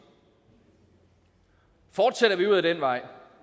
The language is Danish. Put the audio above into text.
fortsætter vi ud ad den vej